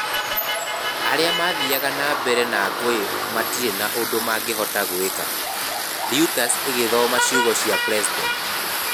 Arĩa mathiaga na mbere na ngũĩ matirĩ ũndũ mangĩhota gwĩka,' Reuters ĩgĩthooma ciugo cia president.